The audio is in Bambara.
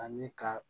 Ani ka